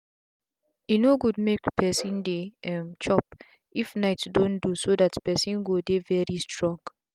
e no good make person dey um chop if night don do so that person go dey very strong.